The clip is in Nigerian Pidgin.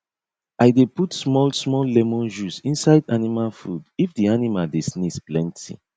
i dey put smallsmall lemon juice inside animal food if the animal dey sneeze plenty